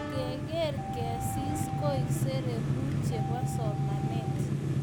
ngegeer ngegeesis koek sere ku chebo somanet